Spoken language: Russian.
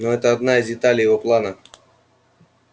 но это одна из деталей его плана